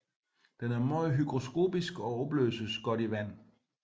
Den er meget hygroskopisk og opløses godt i vand